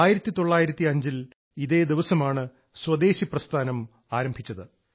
1905 ഇതേ ദിവസമാണ് സ്വദേശി പ്രസ്ഥാനം ആരംഭിച്ചത്